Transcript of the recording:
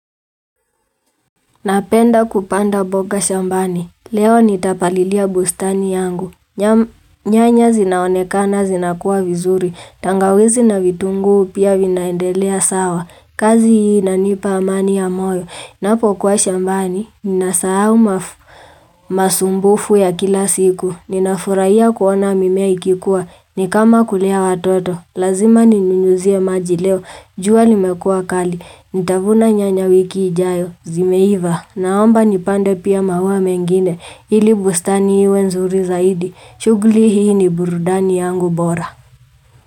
Napenda kupanda boka shambani, leo nitapalilia bustani yangu, nyanya zinaonekana zinakuwa vizuri, tangawizi na vitungu pia vinaendelea sawa, kazi hii nanipa amani ya moyo, napo kuwa shambani, ninasahau mafu, masumbufu ya kila siku, ninafuraiya kuona mimea ikikuwa, nikama kulea watoto, lazima ninunyuzia maji leo, juwa limekua kali, nitavuna nyanya wiki ijayo, zimeiva. Naomba nipande pia mauwa mengine ili bustani iwe nzuri zaidi shuguli hii ni burudani yangu bora.